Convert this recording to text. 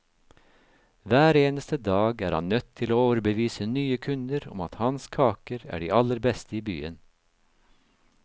Hver eneste dag er han nødt til å overbevise nye kunder om at hans kaker er de aller beste i byen.